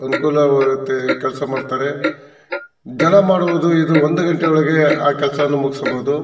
ಅನುಕೂಲವಾಗುತ್ತೆ ಕೆಲಸ ಮಾಡ್ತಾರೆ ಜನ ಮಾಡೋದು ಇದು ಒಂದು ಗಂಟೆ ಒಳಗೆ ಕೆಲಸ ಮುಗಿಸಬಹುದು.